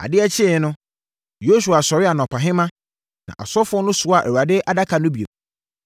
Adeɛ kyeeɛ no, Yosua sɔree anɔpahema, na asɔfoɔ no soaa Awurade Adaka no bio.